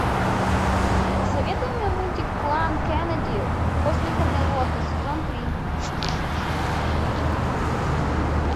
посоветуй мне мультик клан кеннеди после камелота сезон три